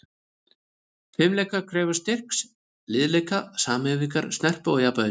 Fimleikar krefjast styrks, liðleika, samhæfingar, snerpu og jafnvægis.